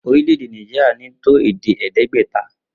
Orílè̩-èdè Naijiria ní́ tó èdè è̩é̩dé̩gbè̩ta